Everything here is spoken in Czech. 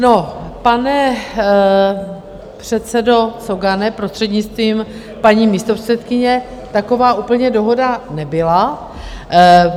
No, pane předsedo Cogane, prostřednictvím paní místopředsedkyně, taková úplně dohoda nebyla.